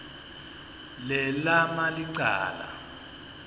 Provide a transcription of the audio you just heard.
le lama licala